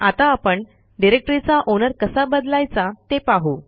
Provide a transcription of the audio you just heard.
आता आपण डिरेक्टरीचा ओनर कसा बदलायचा ते पाहू